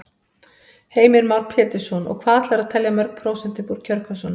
Heimir Már Pétursson: Og hvað ætlarðu að telja mörg prósent upp úr kjörkössunum?